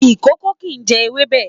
Ìkòkò kìí jẹ ewébẹ̀.